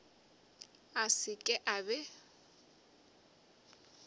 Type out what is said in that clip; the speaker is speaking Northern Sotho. a se ke a be